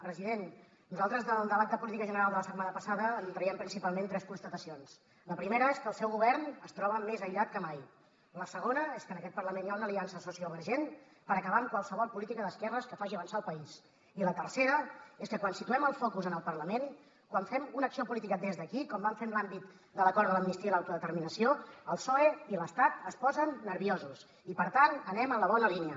president nosaltres del debat de política general de la setmana passada en traiem principalment tres constatacions la primera és que el seu govern es troba més aïllat que mai la segona és que en aquest parlament hi ha una aliança sociovergent per acabar amb qualsevol política d’esquerres que faci avançar el país i la tercera és que quan situem el focus en el parlament quan fem una acció política des d’aquí com vam fer en l’àmbit de l’acord de l’amnistia i l’autodeterminació el psoe i l’estat es posen nerviosos i per tant anem en la bona línia